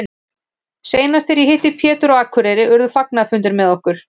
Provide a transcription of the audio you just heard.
Seinast þegar ég hitti Pétur á Akureyri urðu fagnaðarfundir með okkur.